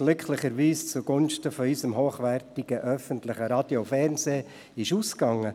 Diese ging glücklicherweise zugunsten unseres hochwertigen öffentlichen Radio und Fernsehens aus.